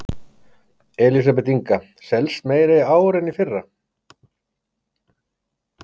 Elísabet Inga: Selst meira í ár en í fyrra?